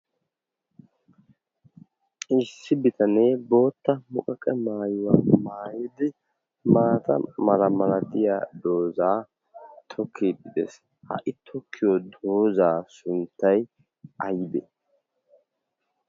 issi bitanee bootta muqaqe maayuwaa maayidi maata mala malatiya doozaa tokki pidees ha"i tokkiyo doozaa sunttay aybee?